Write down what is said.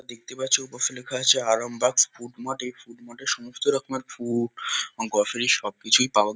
দেখতে পাচ্ছ ওপাশে লেখা আছে আরামবাগ ফুড মার্ট . এই ফুড মার্ট -এ সমস্ত রকমের ফুড গ্রোসারি সব কিছুই পাওয়া --